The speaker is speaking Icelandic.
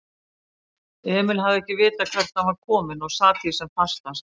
Emil hafði ekkert vitað hvert hann var kominn og sat því sem fastast.